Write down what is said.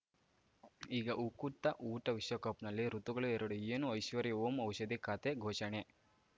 ಈಗ ಉಕುತ ಊಟ ವಿಶ್ವಕಪ್‌ನಲ್ಲಿ ಋತುಗಳು ಎರಡು ಏನು ಐಶ್ವರ್ಯಾ ಓಂ ಔಷಧಿ ಖಾತೆ ಘೋಷಣೆ